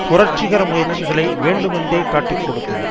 புரட்சிகர முயற்சிகளை வேண்டுமேன்றே காட்டிக் கொடுத்தது